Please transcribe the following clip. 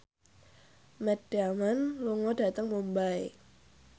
Matt Damon lunga dhateng Mumbai